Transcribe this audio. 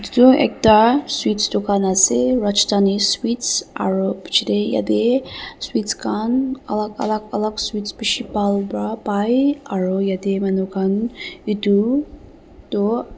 tu ekta sweets dukan ase rajdhani sweets aru pichetey yatey sweets khan alak alak alak sweets bishi bhal pra pai aru yatey manu khan itu toh--